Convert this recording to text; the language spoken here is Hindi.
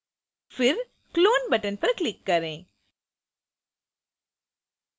फिर clone button पर click करें